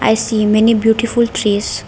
i see many beautiful trees.